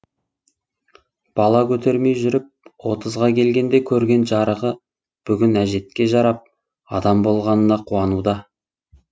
бала көтермей жүріп отызға келгенде көрген жарығы бүгін әжетке жарап адам болғанына қуануда